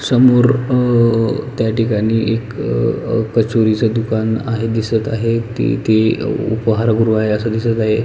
समोर अ त्या ठिकाणी एक अ कचोरीच दुकान आहे दिसत आहे तेथे उपहार गृह आहे अस दिसत आहे.